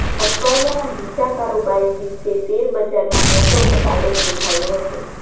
અઠવાડિયાના બીજા કારોબારી દિવસે શેરબજારમાં મોટો ઘટાડો નોંધાયો હતો